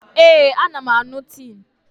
Ee, ana m aṅụ tii Neem.